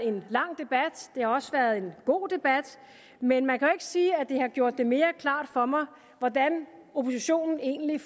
en lang debat det har også været en god debat men man kan jo sige at det har gjort det mere klart for mig hvordan oppositionen egentlig